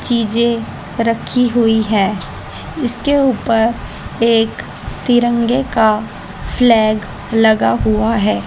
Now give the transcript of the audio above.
चीजें रखी हुई है इसके ऊपर एक तिरंगे का फ्लैग लगा हुआ है।